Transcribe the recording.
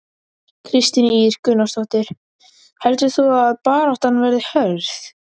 Kristín Ýr Gunnarsdóttir: Heldur þú að baráttan verði hörð?